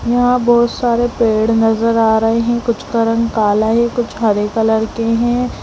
यहाँ बहुत सारे पेड़ नज़र आ रहें हैं कुछ का रंग काला है कुछ हरे कलर के हैं।